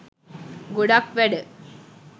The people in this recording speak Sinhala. ගොඩක් වැඩ